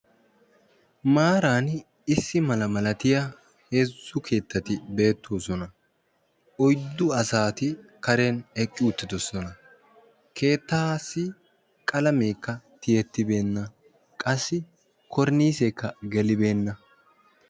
Maaran issi mala malatiya heezzu keettati beettoosona. oyddu asaati karen eqqi uttidosona. keettaasi qalameekka tiyettibeenna qassi kornniiseekka gelibeenna.